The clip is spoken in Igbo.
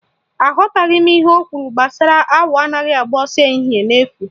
Aghọtaghị m ihe ọ kwụrụ gbasara awọ anaghị agba ọsọ ehihie n'efu